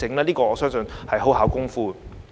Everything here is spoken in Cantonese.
這點我相信很費工夫。